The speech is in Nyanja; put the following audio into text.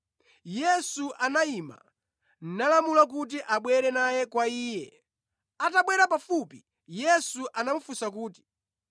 Yesu anayima nalamula kuti abwere naye kwa Iye. Atabwera pafupi, Yesu anamufunsa kuti,